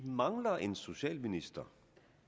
mangler en socialminister